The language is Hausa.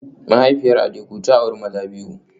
Mahaifiyar Adeku ta auri maza biyu